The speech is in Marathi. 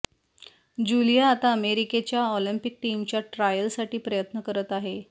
ज्यूलिया आता अमेरिकेच्या ऑल्मिपिक टीमच्या ट्रायलसाठी प्रयत्न करत आहे